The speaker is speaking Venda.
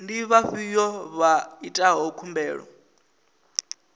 ndi vhafhiyo vha itaho khumbelo